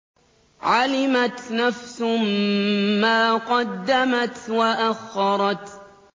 عَلِمَتْ نَفْسٌ مَّا قَدَّمَتْ وَأَخَّرَتْ